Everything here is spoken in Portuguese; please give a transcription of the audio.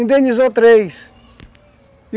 Indenizou três.